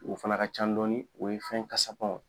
O fana ka can dɔɔni o ye fɛn kasamanw ye.